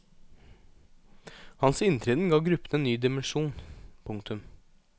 Hans inntreden ga gruppen en ny dimensjon. punktum